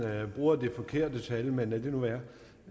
bruger det forkerte tal men lad det nu være